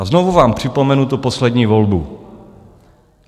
A znovu vám připomenu tu poslední volbu.